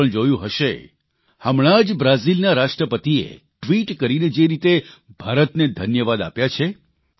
તમે પણ જોયું હશે હમણાં જ બ્રાઝીલના રાષ્ટ્રપતિએ ટ્વિટ કરીને જે રીતે ભારતને ધન્યવાદ આપ્યા છે